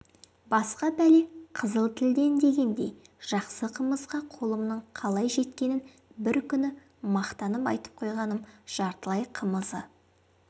басқа бәле қызыл тілден дегендей жақсы қымызға қолымның қалай жеткенін бір күні мақтанып айтып қойғаным жартылай қымызы